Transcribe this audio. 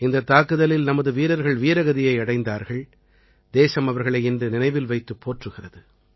இந்தத் தாக்குதலில் நமது வீரர்கள் வீரகதியை அடைந்தார்கள் தேசம் அவர்களை இன்று நினைவில் வைத்துப் போற்றுகிறது